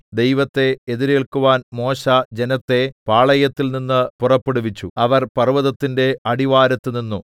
ദൈവത്തെ എതിരേല്ക്കുവാൻ മോശെ ജനത്തെ പാളയത്തിൽനിന്ന് പുറപ്പെടുവിച്ചു അവർ പർവ്വതത്തിന്റെ അടിവാരത്തു നിന്നു